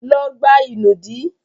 Lọ gbá ìnùdí!